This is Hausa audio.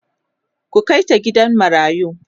ku Kai ta gidan marayu!